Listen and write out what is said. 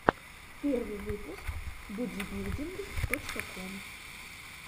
первый выпуск бодибилдинг точка ком